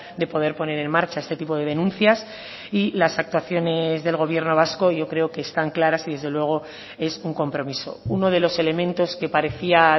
de poder poner en marcha este tipo de denuncias y las actuaciones del gobierno vasco yo creo que están claras y desde luego es un compromiso uno de los elementos que parecía